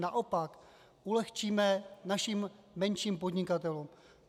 Naopak ulehčíme našim menším podnikatelům.